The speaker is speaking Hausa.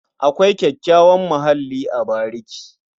Akwai kyakkyawan muhalli a bariki.